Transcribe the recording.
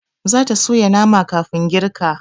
Zata soya nama kafin girka